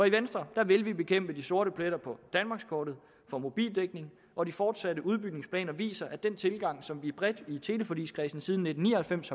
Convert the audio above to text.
i venstre vil vi bekæmpe de sorte pletter på danmarkskortet for mobildækning og de fortsatte udbygningsplaner viser at den tilgang som vi bredt i teleforligskredsen siden nitten ni og halvfems